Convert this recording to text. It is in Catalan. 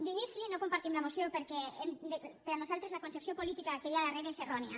d’inici no compartim la moció perquè per nosaltres la concepció política que hi ha darrere és errònia